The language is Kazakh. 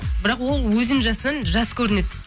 бірақ ол өзінің жасынан жас көрінеді